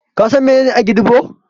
Ka san menene Agidigbo?